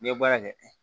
N'i ye baara kɛ